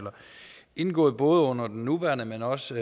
indgået både under den nuværende men også